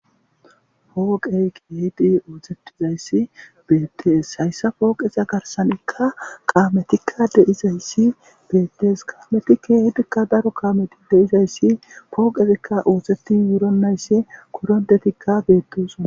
Pooqee keexi ooseththizayssi beeththees;hayssa pooqetha garssanikka kaamethikka de7izayssi beeththees; kaamethikka keehidi daro kaamethikka issi pooqezikka ooseththi wuronnayse koronthethikka beeththoosona.